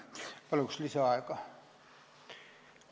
Palun lisaaega!